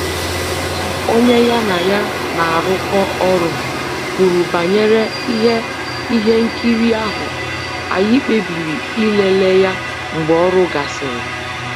Otu onye ya na ya na-arụkọ ọrụ kwuru banyere ihe ihe nkiri ahụ, anyị kpebiri ịlele ya mgbe ọrụ gasịrị